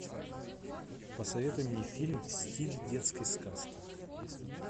посоветуй мне фильм в стиле детской сказки